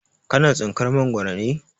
Ka na tsinkar Mangwaro ne?